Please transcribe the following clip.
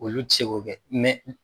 Olu ti se k'o kɛ mɛ